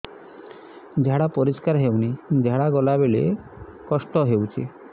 ଝାଡା ପରିସ୍କାର ହେଉନି ଝାଡ଼ା ଗଲା ବେଳେ କଷ୍ଟ ହେଉଚି